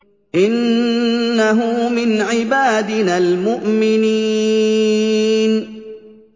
إِنَّهُ مِنْ عِبَادِنَا الْمُؤْمِنِينَ